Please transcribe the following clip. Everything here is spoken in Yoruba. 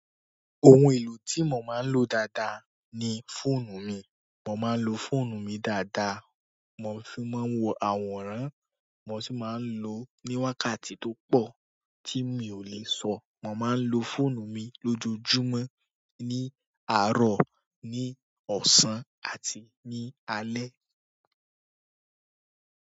Ohun èlò tí mo máa ń lò dáadáa ni fóònù mi. Mo máa ń lò fóònù mi dáadáa, mo fi máa ń wo àwòrán, mo sì máa ń lò ó ní wákàtí tó po tí mi ò lè sọ. Mo máa ń lò fóònù mi lójoojúmọ́, ní àárọ̀, ní ọ̀sán àti ní alẹ́.